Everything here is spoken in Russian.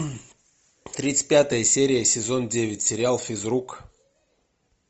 тридцать пятая серия сезон девять сериал физрук